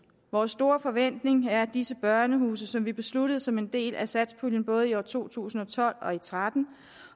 vores store forventning er at disse børnehuse som vi besluttede som en del af satspuljen både i to tusind og tolv og to tusind og tretten